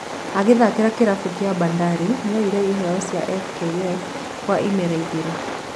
Agĩthakĩra kĩrabũ kĩa Bandari nĩoyire iheo cia FKF kwa imera igĩrĩ.